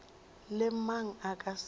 le mang a ka se